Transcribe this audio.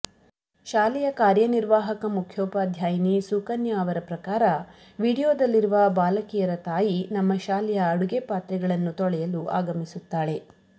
ಶಾಲೆಯ ಕಾರ್ಯನಿರ್ವಾಹಕ ಮುಖ್ಯೋಪಾದ್ಯಾಯಿನಿ ಸುಕನ್ಯಾ ಅವರ ಪ್ರಕಾರ ವೀಡಿಯೋದಲ್ಲಿರುವ ಬಾಲಕಿಯರ ತಾಯಿ ನಮ್ಮ ಶಾಲೆಯ ಅಡುಗೆ ಪಾತ್ರೆಗಳನ್ನು ತೊಳೆಯಲು ಆಗಮಿಸುತ್ತಾಳೆ